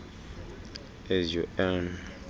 as you earn